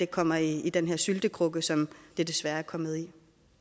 kommer i den her syltekrukke som det desværre er kommet